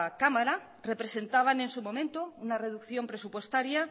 cámara representaban en su momento una reducción presupuestaria